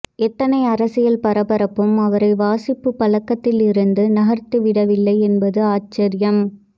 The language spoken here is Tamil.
எத்தனை அரசியல் பரபரப்பும் அவரை வாசிப்புப் பழக்கத்திலிருந்து நகர்த்திவிடவில்லை என்பது ஆச்சர்யம்